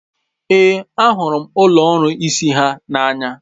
Ee, ahụrụ m ụlọ ọrụ isi ha n'anya.